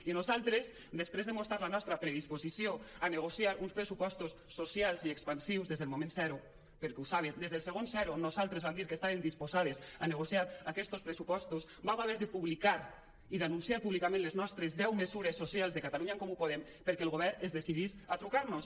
i nosaltres després de mostrar la nostra predisposició a negociar uns pressupostos socials i expansius des del moment zero perquè ho saben des del segon zero nosaltres vam dir que estàvem disposades a negociar aquestos pressupostos vam haver de publicar i d’anunciar públicament les nostres deu mesures socials de catalunya en comú podem perquè el govern es decidís a trucar nos